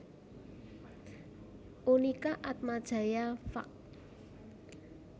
Unika Atmajaya Fak